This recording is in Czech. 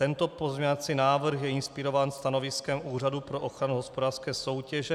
Tento pozměňovací návrh je inspirován stanoviskem Úřadu pro ochranu hospodářské soutěže.